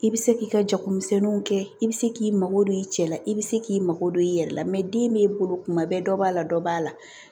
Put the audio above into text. I bɛ se k'i ka jagomisɛnninw kɛ i bɛ se k'i mago don i cɛ la i bɛ se k'i mago don i yɛrɛ la den b'i bolo kuma bɛɛ dɔ b'a la dɔ b'a la